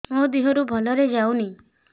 ମୋ ଦିହରୁ ଭଲରେ ଯାଉନି